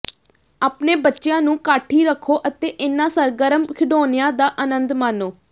ਆਪਣੇ ਬੱਚਿਆਂ ਨੂੰ ਕਾਠੀ ਰੱਖੋ ਅਤੇ ਇਨ੍ਹਾਂ ਸਰਗਰਮ ਖਿਡੌਣਿਆਂ ਦਾ ਅਨੰਦ ਮਾਣੋ